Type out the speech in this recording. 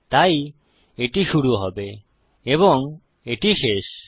তাই এটি শুরু হবে এবং এটি শেষ